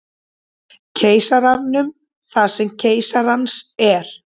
Keisaranum það sem keisarans er.